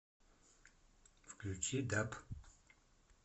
включи даб